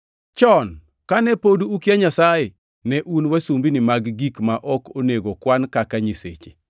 Chon kane pod ukia Nyasaye, ne un wasumbini mag gik ma ok onego kwan kaka nyiseche.